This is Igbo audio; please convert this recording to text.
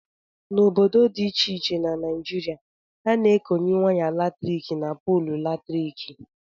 N' ọbọdọ dị ịche ịche na naịjịrịa a na- ekọnye waya latrịkị n' pọọlụ latrịkị.